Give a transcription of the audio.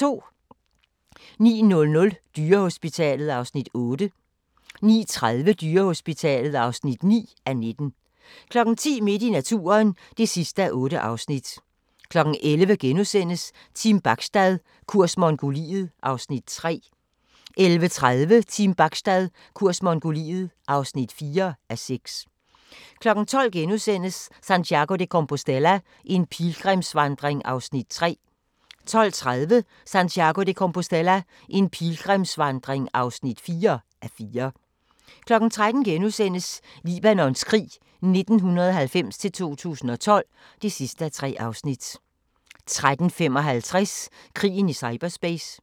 09:00: Dyrehospitalet (8:19) 09:30: Dyrehospitalet (9:19) 10:00: Midt i naturen (8:8) 11:00: Team Bachstad – kurs Mongoliet (3:6)* 11:30: Team Bachstad – kurs Mongoliet (4:6) 12:00: Santiago de Compostela – en pilgrimsvandring (3:4)* 12:30: Santiago de Compostela – en pilgrimsvandring (4:4) 13:00: Libanons krig 1990-2012 (3:3)* 13:55: Krigen i cyberspace